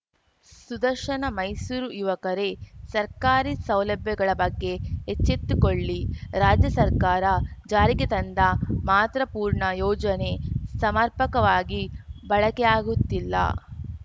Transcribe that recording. ಸುದರ್ಶನ ಮೈಸೂರು ಯುವಕರೇ ಸರ್ಕಾರಿ ಸೌಲಭ್ಯಗಳ ಬಗ್ಗೆ ಎಚ್ಚೆತ್ತುಕೊಳ್ಳಿ ರಾಜ್ಯ ಸರ್ಕಾರ ಜಾರಿಗೆ ತಂದ ಮಾತೃಪೂರ್ಣ ಯೋಜನೆ ಸಮರ್ಪಕವಾಗಿ ಬಳಕೆಯಾಗುತ್ತಿಲ್ಲ